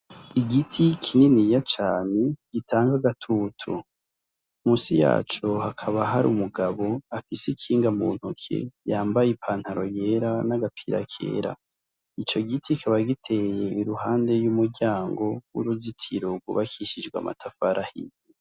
Igiti kininiya cane gitanga agatutu musi yaco hakaba hari umugabo afise ikinga muntoke yambaye ipantaro yera n' agapira kera ico giti kikaba giteye iruhande y'umuryango uruzitiro gwubakishijwe amatafari ahiye.